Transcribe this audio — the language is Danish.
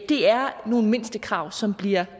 det er nogle mindstekrav som bliver